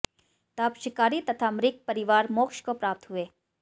तब शिकारी तथा मृग परिवार मोक्ष को प्राप्त हुए